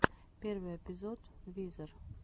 первый эпизод визер